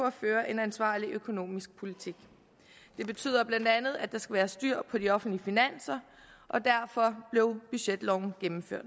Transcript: at føre en ansvarlig økonomisk politik det betyder bla at der skal være styr på de offentlige finanser og derfor blev budgetloven gennemført